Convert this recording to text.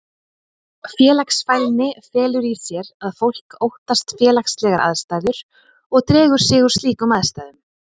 Félagsfælni felur í sér að fólk óttast félagslegar aðstæður og dregur sig úr slíkum aðstæðum.